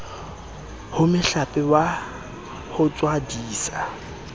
ho mohlape wa ho tswadisa